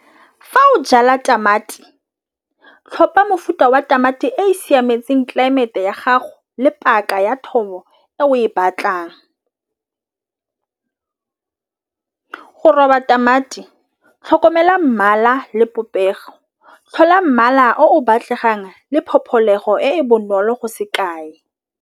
Fa o jala tamati tlhopha mofuta wa tamati e siametseng tlelaemete ya gago le paka ya thobo e o e batlang. Go robala tamati tlhokomela mmala le popego tlhola mmala o batlegang le pope tlholego e bonolo go se kae.